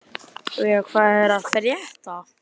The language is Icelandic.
Veiga, hvað er að frétta?